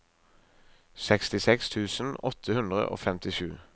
sekstiseks tusen åtte hundre og femtisju